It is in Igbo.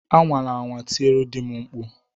Anwala anwa tiere di m mkpu!